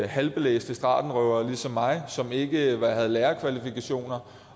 halvstuderede stratenrøvere ligesom mig som ikke havde lærerkvalifikationer